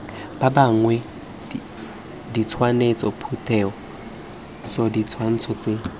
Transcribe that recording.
ba bangwe ditshwantshotshupetso ditshwantsho tse